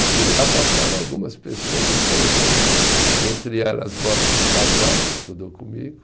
E por lá passaram algumas pessoas interessantes, entre elas Borix Casoy, que estudou comigo.